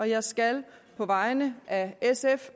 jeg skal på vegne af sf